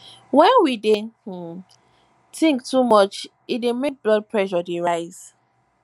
when we dey um think too much e dey make blood pressure dey rise